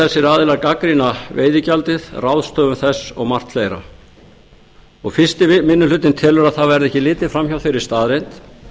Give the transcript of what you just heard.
þessir aðilar gagnrýna veiðigjaldið ráðstöfun þess og margt fleira fyrsti minni hluti telur að það verði ekki litið fram hjá eigi staðreynd